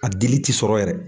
A diili ti sɔrɔ yɛrɛ.